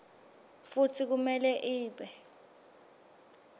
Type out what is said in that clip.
futsi kumele ibe